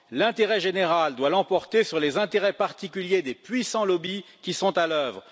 L'intérêt général doit l'emporter sur les intérêts particuliers des puissants lobbies qui sont à l'oeuvre.